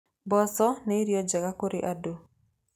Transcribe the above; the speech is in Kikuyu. Mboco nĩ irio njega kũrĩ andũ.